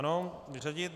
Ano vyřadit.